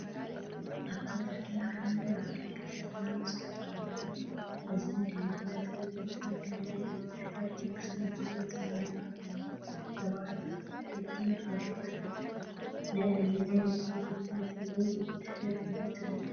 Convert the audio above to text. ኣብቲ ጽርግያ ዓቢ ኣፍደገ ሰማያዊ ጽሑፍ ኣለዎ፡ እዚ ድማ መእተዊ ቤት ትምህርቲ ወይ ቤት ጽሕፈት መንግስቲ ምዃኑ ዘመልክት እዩ። ሰባት ኣብ መንገዲ ይኸዱ ኣለዉ። ናይ ኣየናይ መእተዊ ቤት ትምህርቲ ወይ ቤት ጽሕፈት እዩ ትብሉ?